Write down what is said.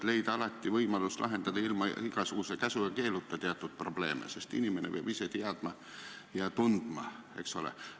Alati tuleks leida võimalus lahendada teatud probleeme ilma igasuguse käsu ja keeluta, sest inimene peab ise teadma ja tundma, eks ole.